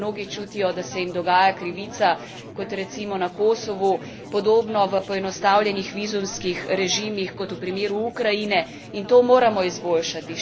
Mnogi čutijo, da se jim dogaja krivica, kot recimo na Kosovu, podobno v poenostavljenih vizumskih režimih, kot v primeru Ukrajine, in to moramo izboljšati.